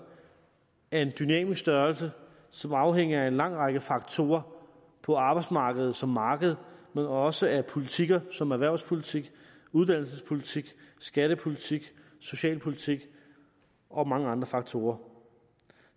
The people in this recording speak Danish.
er en dynamisk størrelse som afhænger af en lang række faktorer på arbejdsmarkedet som marked men også af politikker som erhvervspolitik uddannelsespolitik skattepolitik socialpolitik og mange andre faktorer